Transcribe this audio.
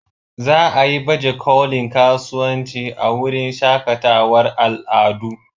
Za a yi bajekolin kasuwanci a wurin shakatawar al'adu.